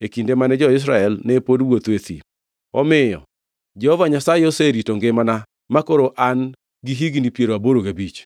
e kinde mane jo-Israel ne pod wuotho e thim. Omiyo Jehova Nyasaye oserito ngimana, makoro an gi higni piero aboro gabich!